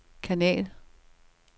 kanal